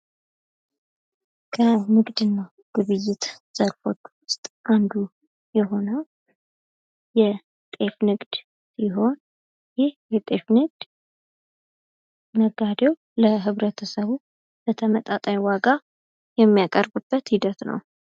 ከንግድና ግብይት ዘርፎች ውስጥ አንዱ የሆነው የጤፍ ንግድ ሲሆን ይህ የጤፍ ንግድ ነጋዴው ለህብረተሰቡ በተመጣጣኝ ዋጋ የሚያቀርብበት ሂደት ነው።